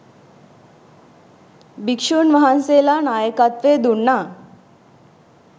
භික්ෂූන් වහන්සේලා නායකත්වය දුන්නා.